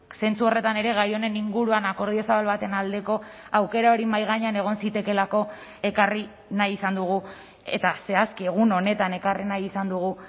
zentzu horretan ere gai honen inguruan akordio zabal baten aldeko aukera hori mahai gainean egon zitekeelako ekarri nahi izan dugu eta zehazki egun honetan ekarri nahi izan dugu